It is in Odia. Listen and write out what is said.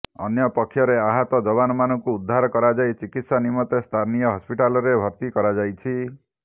ଅନ୍ୟପକ୍ଷରେ ଆହତ ଯବାନମାନଙ୍କୁ ଉଦ୍ଧାର କରାଯାଇ ଚିକିତ୍ସା ନିମନ୍ତେ ସ୍ଥାନୀୟ ହସ୍ପିଟାଲରେ ଭର୍ତ୍ତି କରାଯାଇଛି